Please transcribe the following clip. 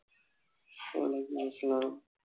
ওয়ালাইকুমআসসালাম